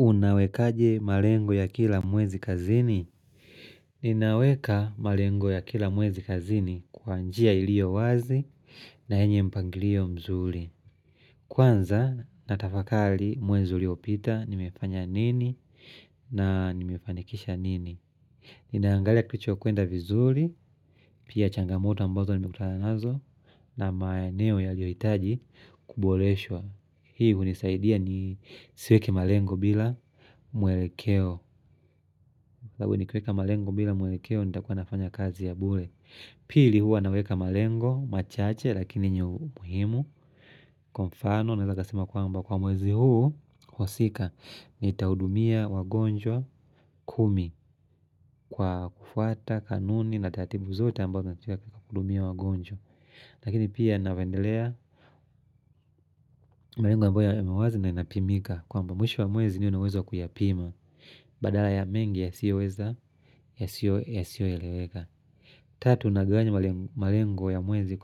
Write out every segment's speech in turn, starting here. Unawekaje malengo ya kila mwezi kazini? Ninaweka malengo ya kila mwezi kazini kwa njia ilio wazi na enye mpangilio mzuri. Kwanza natafakali mwezi uliopita nimefanya nini na nimefanikisha nini. Ninaangalia kilichokwenda vizuri, pia changamoto ambazo nimekutana nazo na maeno yaliohitaji kuboreshwa. Hii hunisaidia ni siweke malengo bila mwelekeo kwa hivo nikiweka malengo bila mwelekeo nitakuwa nafanya kazi ya bule Pili huwa naweka malengo machache Lakini yenye umuhimu Kwa mfano naeza kasema kwamba Kwa mwezi huu osika Nitahudumia wagonjwa kumi Kwa kufuata kanuni na taratibu zote ambao natuweka kudumia wagonjwa Lakini pia navendelea malengo ambayo emewazi na inapimika kwamba mwisho wa mwezi niwe na uwezo kuyapima Badala ya mengi yasiyoweza ya siyoeleweka Tatu unagawanya malengo ya mwezi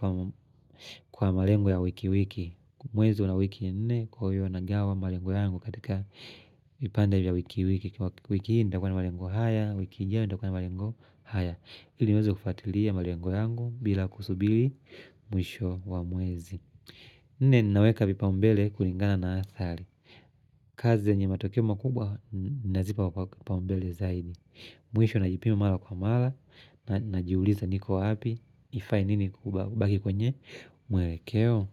kwa malengo ya wiki wiki Mwezi una wiki nne kwayo unagawa malengo yangu katika vipande vya wiki wiki wiki hiinda kwa na malengo haya wiki hii ndakwa na malengo haya ili niweze kufatilia malengo yangu bila kusubili mwisho wa mwezi Nne ninaweka vipaumbele kulingana na athari kazi zenye matokeo makubwa nazipa wapaumbele zaidi Mwisho najipima mara kwa mara Najiuliza niko wapi Ifai nini kubaki kwenye Mwerekeo.